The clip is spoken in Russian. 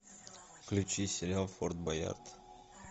включи сериал форт боярд